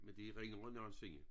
Men det er ringere end nogensinde